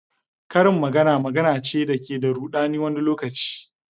Karin magana magana ce da ke da rudani wani lokaci.